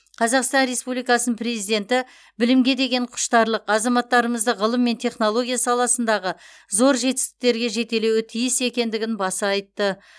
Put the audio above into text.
қазақстан республикасының президенті білімге деген құштарлық азаматтарымызды ғылым мен технология саласындағы зор жетістіктерге жетелеуі тиіс екендігін баса айтты